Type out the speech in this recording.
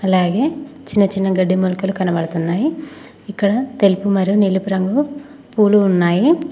అలాగే చిన్న చిన్న గడ్డి మొలకలు కనబడుతున్నాయి ఇక్కడ తెలుపు మరియు నీలపు రంగు పూలు ఉన్నాయి.